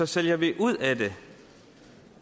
sælger vi ud af dem